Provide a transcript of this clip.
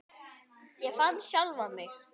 Ég fann sjálfan mig.